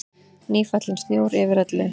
Nýfallinn snjór yfir öllu.